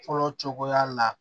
Fɔlɔ cogoya la